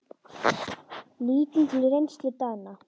Lítum til reynslu Dana.